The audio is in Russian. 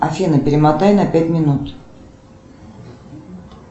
афина перемотай на пять минут